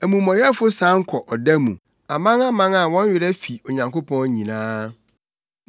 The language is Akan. Amumɔyɛfo san kɔ ɔda mu, amanaman a wɔn werɛ fi Onyankopɔn nyinaa.